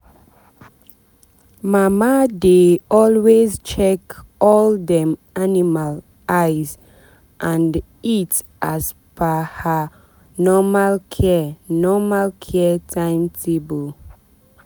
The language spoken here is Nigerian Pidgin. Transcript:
mama dey always check all dem animal eyes and eat as per her normal care normal care timetable.